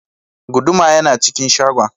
Guduma yana cikin shagon.